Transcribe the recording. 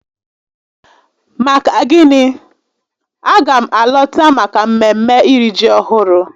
Maka gịnị? a ga m alọta maka mmemme iri ji ọhụrụ